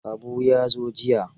Habu ya zo jiya.